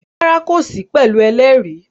Rárá, kò sí pẹ̀lú ẹlẹ́rìí